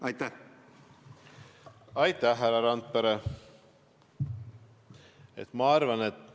Aitäh, härra Randpere!